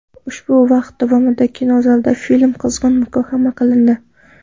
Ushbu vaqt davomida kinozalda film qizg‘in muhokama qilindi.